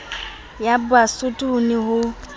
ya basotho ho ne ho